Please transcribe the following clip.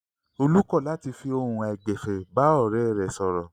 Olú kọ̀ làti fi ohun àìgbẹ̀fẹ̀ bá ọ̀rẹ́ rẹ̀ sọ̀rọ̀.